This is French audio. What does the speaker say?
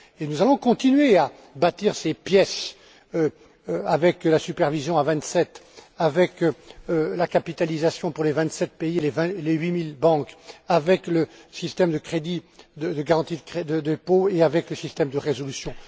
Et nous allons continuer à bâtir ces pièces avec la supervision à vingt sept, avec la capitalisation pour les vingt sept pays et les huit mille banques, avec le système de crédit et de garantie des dépôts et avec les systèmes de résolution.